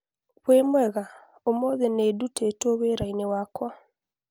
wimwega Olly ũmũthĩ nĩ ndũtitwo wĩra-inĩ wakwa